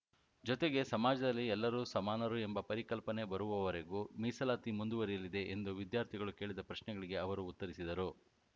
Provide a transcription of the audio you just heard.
ಜೊತೆಗೆ ಸಮಾಜದಲ್ಲಿ ಎಲ್ಲರು ಸಮಾನರು ಎಂಬ ಪರಿಕಲ್ಪನೆ ಬರುವವರೆಗೂ ಮೀಸಲಾತಿ ಮುಂದುವರಿಯಲಿದೆ ಎಂದು ವಿದ್ಯಾರ್ಥಿಗಳು ಕೇಳಿದ ಪ್ರಶ್ನೆಗಳಿಗೆ ಅವರು ಉತ್ತರಿಸಿದರು